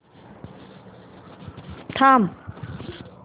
थांब